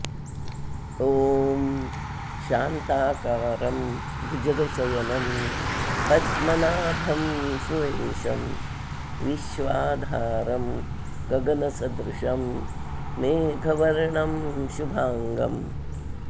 ॐ शान्ताकारं भुजगशयनं पद्मनाभं सुरेशं विश्वाधारं गगनसदृशं मेघवर्णं शुभांगम्